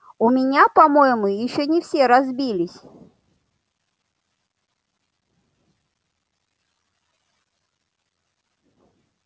у меня по-моему ещё не все разбились